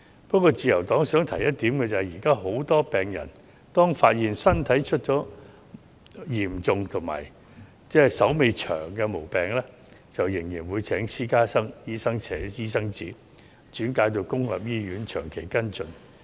不過，自由黨想指出一點，現時許多病人當發現身體出現嚴重及須長期診治的毛病時，仍會請私家醫生寫轉介信，轉到公營醫院作長期跟進。